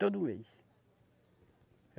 Todo mês.